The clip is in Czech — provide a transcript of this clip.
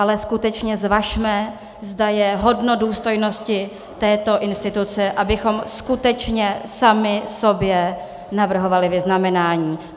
Ale skutečně zvažme, zda je hodno důstojnosti této instituce, abychom skutečně sami sobě navrhovali vyznamenání.